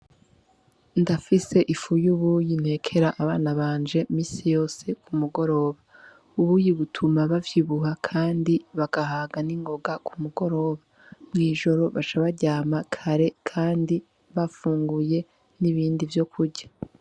Ndafise ifu y' ubuyi ntekera abana banje misi yose ku mugoroba ubuyi butuma bavyibuha, kandi bagahaga n'ingoga ku mugoroba mw'ijoro baca baryama kare, kandi bafunguye n'ibindi vyo kurya.